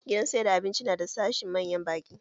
Gidan siyar da abinci na da sashin manyan ɓaki